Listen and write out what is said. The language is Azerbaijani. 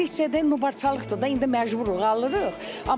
Keçdikcə də dubarçılıqdır da, indi məcburuq, alırıq.